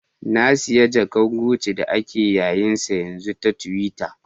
Na siya jaka'n guci da ake yayen sa yanzu ta tiwitta.